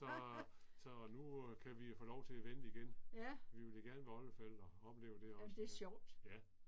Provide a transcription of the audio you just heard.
Så så nu kan vi jo få lov til at vente igen. Vi vil da gerne være oldeforældre, opleve det også, ja. Ja